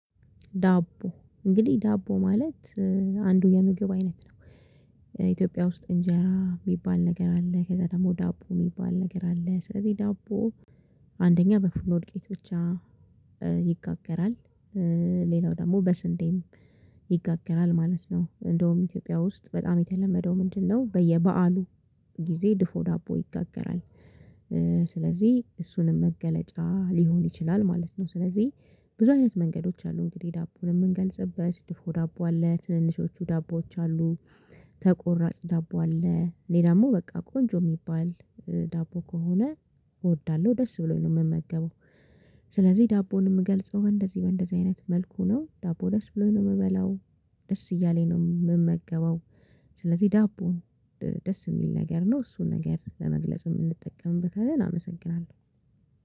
ዳቦ እንግዲህ ዳቦ ማለት አንዱ የምግብ አይነት ነው። ኢትዮጵያ ውስጥ እንጀራ የሚባል ነገር አለ ከዛ ደግሞ ዳቦ የሚባል ነገር አለ። ስለዚህ ዳቦ አንደኛ በፉርኖ ዱቄት ብቻ ይጋገራል። ሌላው ደግሞ በስንዴም ይጋገራል ማለት ነው። እንደውም ኢትዮጵያ ውስጥ በጣም የተለመደው ምንድነው? በየበአሉ ጊዜ ድፎ ዳቦ ይጋገራል። ስለዚህ እሱንም መገለጫ ሊሆን ይችላል ማለት ነው። ስለዚህ ብዙ አይነት መንገዶች አሉ እንግዲህ ዳቦን የምንገልጽበት ድፎ ዳቦ አለ ትንንሾቹ ዳቦዎች አሉ። ተቆራጭ ዳቦ አለ እኔ ደግሞ በቃ ቆንጆ የሚባል ዳቦ ከሆነ እወዳለሁ። ደስ ብሎኝ ነው የምመገበው። ስለዚህ ዳቦን የምገልጸው በእንደዚህ በእንደዚህ አይነት መልኩ ነው። ዳቦ ደስ ብሎኝ ነው የምበላው ደስ እያለኝ ነው የምመገበው። ስለዚህ ዳቦ ነው ደስ የሚል ነገር ነው እሱን ነገር ለመግለጽ የምንጠቀምበት አመሰግናለሁ።